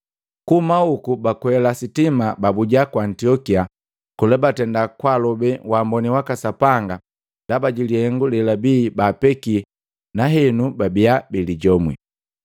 Kuhuma hoku bakweliki sitima babuja ku Antiokia. Kola batenda kwalobe waamboni waka Sapanga ndaba jilihengu lebabi baapeki nahenu babia bilijomwi.